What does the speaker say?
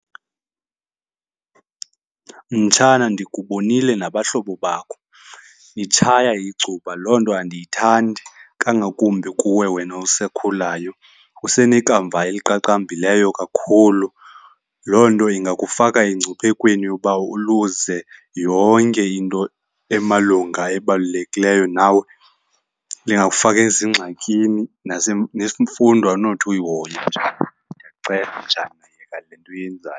Mtshana, ndikubonile nabahlobo bakho nitshaya icuba. Loo nto andiyithandi kangakumbi kuwe wena usakhulayo, usenekamva eliqaqambileyo kakhulu. Loo nto ingakufaka engciphekweni yokuba uluze yonke into emalunga ebalulekileyo nawe. Lingakufaka ezingxakini nemfundo awunothi uyihoye, mtshana. Ndiyakucela mtshana, yeka le nto uyenzayo.